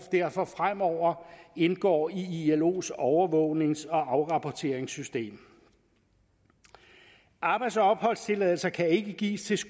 derfor fremover indgår i ilos overvågnings og afrapporteringssystem arbejds og opholdstilladelser kan ikke gives til